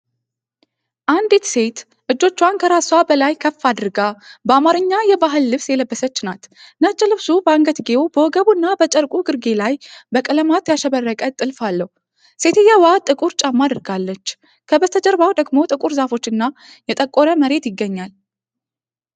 አንዲት ሴት እጆቿን ከራስዋ በላይ ከፍ አድርጋ በአማርኛ የባህል ልብስ የለበሰች ናት። ነጭ ልብሱ በአንገትጌው፣ በወገቡና በጨርቁ ግርጌ ላይ በቀለማት ያሸበረቀ ጥልፍ አለው። ሴትየዋ ጥቁር ጫማ አድርጋለች፤ ከበስተጀርባው ደግሞ ጥቁር ዛፎች እና የጠቆረ መሬት ይገኛል።